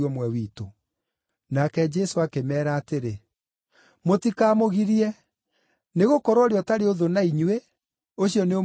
Nake Jesũ akĩmeera atĩrĩ, “Mũtikamũgirie, nĩgũkorwo ũrĩa ũtarĩ ũthũ na inyuĩ, ũcio nĩ ũmwe wanyu.”